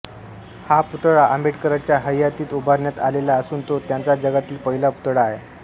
हा पुतळा आंबेडकरांच्या हयातीत उभारण्यात आलेला असून तो त्यांचा जगातील पहिला पुतळा आहे